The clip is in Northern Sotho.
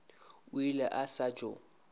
o ile a sa tšo